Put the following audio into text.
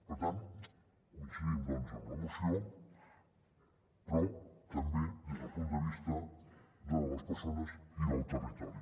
per tant coincidim amb la moció però també des del punt de vista de les perso·nes i del territori